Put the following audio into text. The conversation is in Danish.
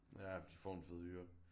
Ja de får en fed hyre